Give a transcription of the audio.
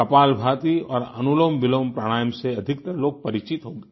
कपालभाती और अनुलोमविलोम प्राणायाम से अधिकतर लोग परिचित होंगे